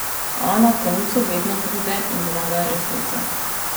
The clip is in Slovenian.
A na koncu vedno pride in zmaga Resnica.